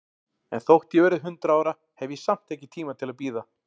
En þótt ég verði hundrað ára, hef ég samt ekki tíma til að bíða.